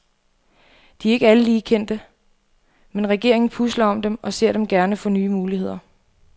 De er ikke alle lige kendte, men regeringen pusler om dem, og ser dem gerne få nye muligheder.